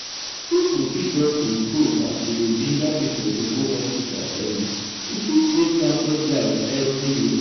if we fit just improve as we dey ginger people to go hospital early e fit save countless lives every year.